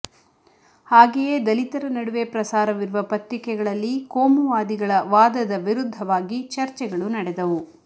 ಹಾಗೆಯೇ ದಲಿತರ ನಡುವೆ ಪ್ರಸಾರವಿರುವ ಪತ್ರಿಕೆಗಳಲ್ಲಿ ಕೋಮುವಾದಿಗಳ ವಾದದ ವಿರುದ್ಧವಾಗಿ ಚಚರ್ೆಗಳು ನಡೆದವು